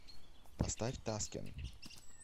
поставь таскен